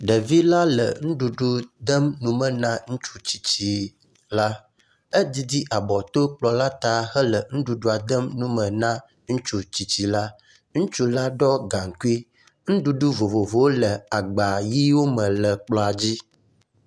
Ɖevi la le nuɖuɖu dem nu me na ŋutsu tsitsi la. Edzidzi abɔ to kplɔ la ta hele nuɖuɖua dem nu me na ŋutsu tsitsi la. Ŋutsu a ɖɔ gaŋnkui. Nuɖuɖu vovovowo le agba ʋiwo me le kplɔa dzi.